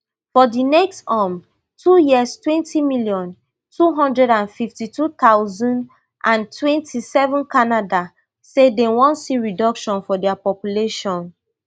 for di next um two years twenty million, two hundred and fifty-two thousand and twenty-seven canada say dem wan see reduction for dia population